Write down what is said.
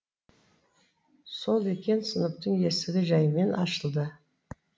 сол екен сыныптың есігі жәймен ашылды